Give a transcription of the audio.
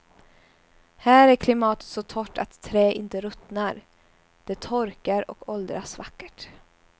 Här är klimatet så torrt att trä inte ruttnar, det torkar och åldras vackert.